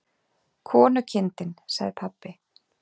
Konukindin, sagði pabbi.